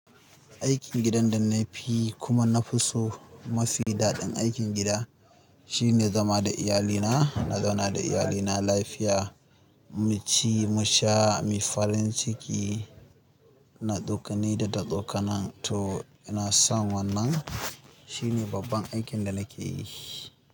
Aikin gidan da na fiyi kuma na fi so mafi daɗin aikin gida shine zama da iyalina, na zauna da iyalina lafiya, mu ci, mu sha, mu yi farin ciki, na ɗauka ni da ta ɗauka nan to ina son wannan. Shine babban aikin da nake yi.